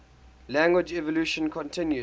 language evolution continues